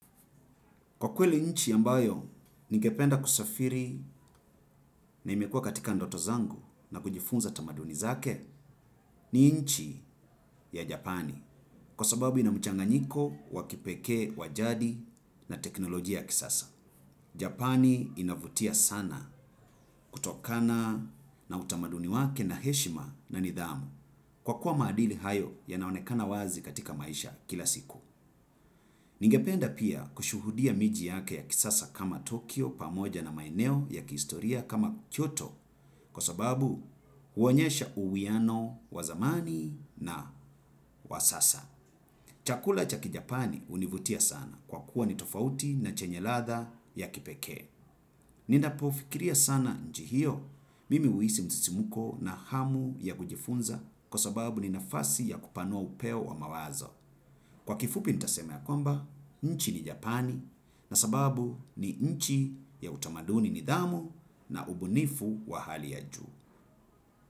Kwa kweli nchi ambayo, ningependa kusafiri na imekua katika ndoto zangu na kujifunza tamaduni zake ni nchi ya Japani. Kwa sababu ina mchanganyiko, wakipekee, wa jadi na teknolojia ya kisasa. Japani inavutia sana kutokana na utamaduni wake na heshima na nidhamu. Kwa kuwa maadili hayo yanaonekana wazi katika maisha kila siku. Ningependa pia kushuhudia miji yake ya kisasa kama Tokyo pamoja na maeneo ya kistoria kama Kyoto kwa sababu huonyesha uwiano wa zamani na wa sasa. Chakula cha kijapani hunivutia sana kwa kuwa ni tofauti na chenye ladha ya kipekee. Ninapofikiria sana nchi hiyo mimi huhisi msisimuko na hamu ya kujifunza kwa sababu ni nafasi ya kupanua upeo wa mawazo. Kwa kifupi nitasema ya kwamba, nchi ni Japani na sababu ni nchi ya utamaduni nidhamu na ubunifu wa hali ya juu.